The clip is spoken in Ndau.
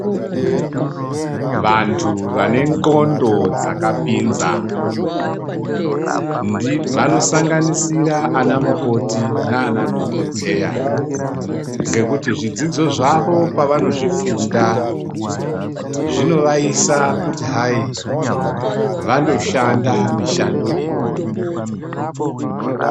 Vantu vane ndxondo dzakapinza vanosanganisira ana mukoti nana dhokodheya ngekuti zvidzidzo zvavo pavanozvifunda zvinovaisa kuti hai vandoshanda mishando iyoyo.